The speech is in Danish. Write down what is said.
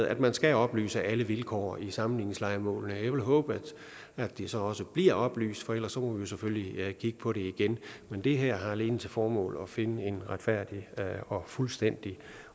at man skal oplyse alle vilkår i sammenligningslejemålene jeg vil håbe at det så også bliver oplyst for ellers jo selvfølgelig kigge på det igen men det her har alene til formål at finde en retfærdig og fuldstændig